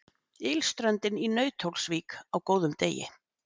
Ylströndin í Nauthólsvík á góðum degi.